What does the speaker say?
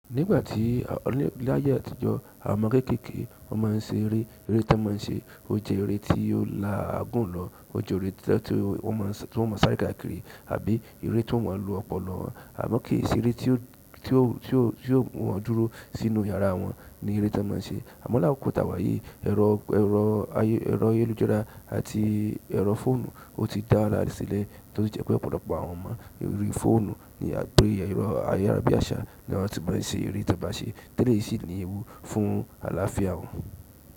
Nígbà tí-- láyé àtijọ́, àwọn ọmọ kekeke wọ́n máa ń ṣeré. Ere ton máa ń ṣe o jẹ́ eré tó la aagun lọ ó jẹ́ eré tí wọ́n ó máa sáré káàkiri tàbí eré tí wọ́n ó máa lò ọpọlọ. Àmọ kì í ṣe eré tí ó mú wọ́n dúró sínú yàrá wọn ni eré tí wọ́n má ń ṣe. Àmọ́ lákókò tí a wà yìí, ẹ̀rọ ayélujára àti ẹ̀rọ fóònù ó ti dára re sílẹ̀ tó sì jẹ́ pé ọ̀pọ̀lọpọ̀ àwọn ọmọ, orí fóònù àbí ẹ̀rọ ayárabíàṣá ni wọ́n ti máa ń ṣe àwọn eré tí wọ́n baa ń ṣe. Tẹ́lẹ̀ yìí ni ewu fún àlàáfíà wọn.